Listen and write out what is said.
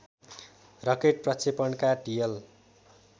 rocket प्रक्षेपणका TL